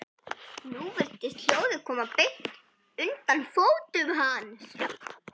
Nú virtist hljóðið koma beint undan fótum hans.